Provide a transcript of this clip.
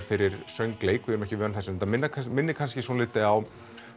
fyrir söngleik við erum ekki vön þessu þetta minnir kannski minnir kannski svolítið á